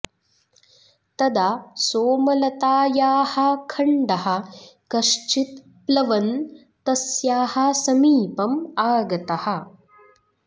तदा सोमलतायाः खण्डः कश्चित् प्लवन् तस्याः समीपम् आगतः